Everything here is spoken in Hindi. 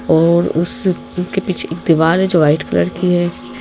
और उसके पीछे एक दीवार है जो वाइट कलर की है।